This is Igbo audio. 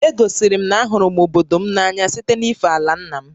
E gosiri m na a hụrụ m obodo m n'anya site na-ife àlà ńnà m